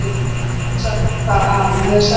Lóa-Lóa sagði henni hvað afi hafði sagt.